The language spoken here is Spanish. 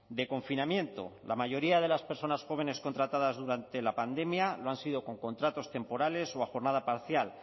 de confinamiento la mayoría de las personas jóvenes contratadas durante la pandemia lo han sido con contratos temporales o a jornada parcial